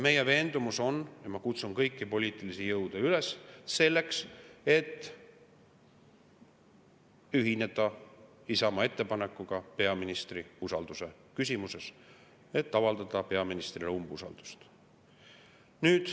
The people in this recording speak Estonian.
Meie veendumus on ja ma kutsun kõiki poliitilisi jõude üles selleks, et ühineda Isamaa ettepanekuga peaministri usalduse küsimuses: avaldame peaministrile umbusaldust.